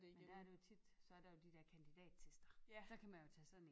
Og der er det jo tit så er der jo de dér kandidattester så kan man jo tage sådan én